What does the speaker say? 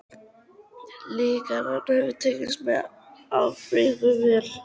Lygarnar höfðu tekist með afbrigðum vel.